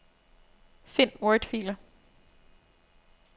Find wordfiler.